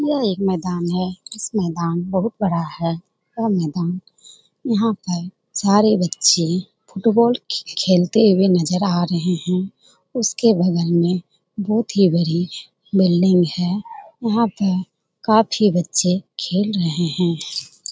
यह एक मैदान है। जिस मैदान बहुत बड़ा है। यह मैदान यहाँ पर सारे बच्चे फुटबॉल खेल खेलते हुए नजर आ रहे हैं। उसके बगल में बहुत ही बड़ी बिल्डिंग है। वहाँ पे काफी बच्चे खेल रहे हैं।